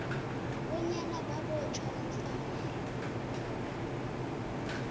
bonyana babotjhwa nofana